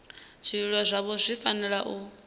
zwililo zwavho zwi fanela u